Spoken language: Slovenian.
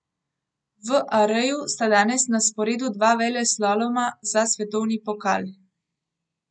V Areju sta danes na sporedu dva veleslaloma za svetovni pokal.